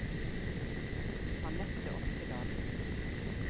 Annette Oftedal